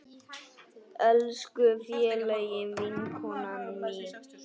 Elsku fallega vinkona mín.